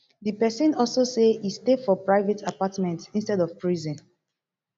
di pesin also say e stay for private apartment instead of prison